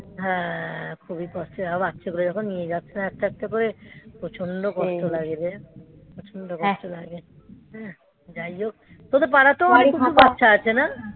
হ্যা. খুবই কষ্টে. বাচ্চাগুলো যখন নিয়ে যাচ্ছে না. একটা একটা করে প্রচন্ড কষ্ট লাগবে প্রচন্ড কষ্ট লাগে. যাই হোক. তোদের পাড়াতেও অনেক কিছু বাচ্চা আছে না?